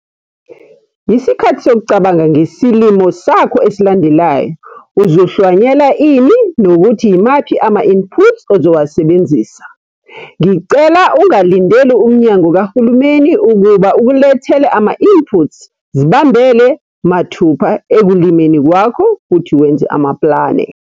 Yisikhathi sokucabanga ngesilimo sakho esilandelayo - uzohlwanyela ini nokuthi yimaphi ama-inputs ozowasebenzisa? Ngicela ungalindeli umnyango kahulumeni ukuba ukulethele ama-inputs - zibambele mathupha ekulimeni kwakho futhi wenze amaplane.